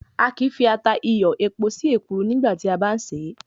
A kìí fi ata, iyọ̀, epo sí èkuru nígbà tí a bá ń ṣè é.